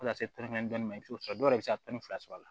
Fo ka taa se naani ma i bi t'o sɔrɔ dɔw yɛrɛ bɛ se ka tɔnni fila sɔrɔ a la